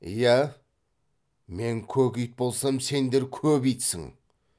иә мен көк ит болсам сендер көп итсің